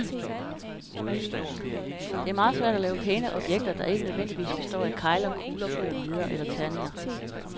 Det er meget svært at lave pæne objekter, der ikke nødvendigvis består af kegler, kugler, pyramider eller terninger.